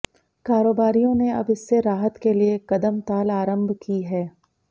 कारोबारियों ने अब इससे राहत के लिए कदमताल आरंभ की है